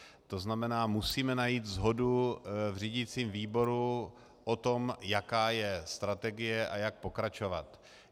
To znamená, musíme najít shodu v řídicím výboru o tom, jaká je strategie a jak pokračovat.